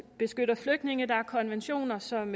beskytter flygtninge der er konventioner som